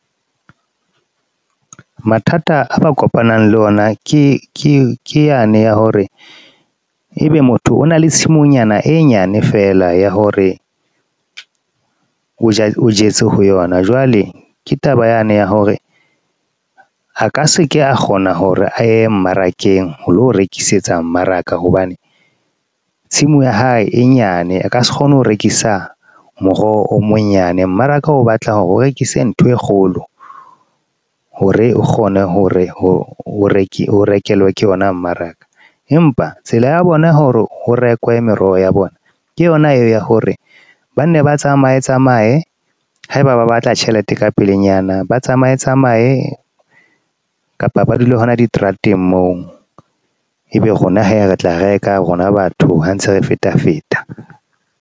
Mathata a ba kopanang le ona ke yane ya hore ebe motho o na le tshimonyana e nyane feela ya hore, o jetse ho yona. Jwale ke taba yane ya hore a ka se ke a kgona hore a ye mmarakeng ho lo rekisetsa mmaraka, hobane tshimo ya hae e nyane a ka se kgone ho rekisa moroho o monyane. Mmaraka o batla hore o rekise ntho e kgolo ho re o kgone hore o rekelwe ke ona mmaraka. Empa tsela ya bona hore ho rekwe meroho ya bona ke ona eo ya hore banne ba tsamaye tsamaye. Haeba ba batla tjhelete ka pelenyana, ba tsamaye tsamaye kapa ba dule hona di trateng moo, ebe rona hee re tla reka rona batho ha ntse re feta feta.